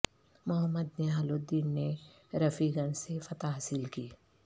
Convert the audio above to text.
محمد نہال الدین نے رفیع گنج سے فتح حاصل کی